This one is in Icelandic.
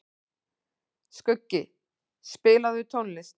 Skuggi, spilaðu tónlist.